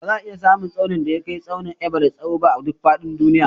Ba za a iya samun tsaunin da ya kai tsaunin Everest tsawo ba a duk faɗin duniya